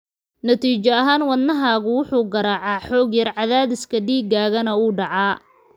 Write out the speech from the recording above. Natiijo ahaan, wadnahaagu wuxuu garaacaa xoog yar, cadaadiska dhiigaagana wuu dhacaa.